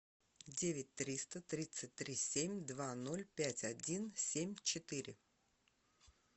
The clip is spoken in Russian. девять триста тридцать три семь два ноль пять один семь четыре